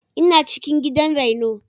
Ina cikin gidan raino.